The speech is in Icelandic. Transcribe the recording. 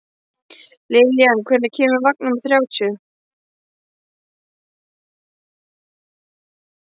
Lillian, hvenær kemur vagn númer þrjátíu?